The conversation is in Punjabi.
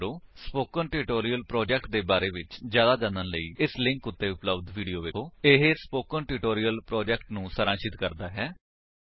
ਸਪੋਕਨ ਟਿਊਟੋਰਿਅਲ ਪ੍ਰੋਜੇਕਟ ਦੇ ਬਾਰੇ ਵਿੱਚ ਜਿਆਦਾ ਜਾਣਨ ਲਈ ਇਸ ਲਿੰਕ ਉੱਤੇ ਉਪਲੱਬਧ ਵੀਡੀਓ ਵੇਖੋ http spoken tutorial org What is a Spoken Tutorial ਇਹ ਸਪੋਕਨ ਟਿਊਟੋਰਿਅਲ ਪ੍ਰੋਜੇਕਟ ਨੂੰ ਸਾਰਾਂਸ਼ਿਤ ਕਰਦਾ ਹੈ